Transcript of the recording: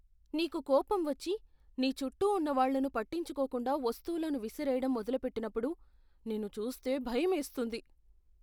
నీకు కోపం వచ్చి, నీ చుట్టూ ఉన్న వాళ్ళను పట్టించుకోకుండా వస్తువులను విసిరేయడం మొదలుపెట్టినప్పుడు నిన్ను చూస్తే భయమేస్తుంది.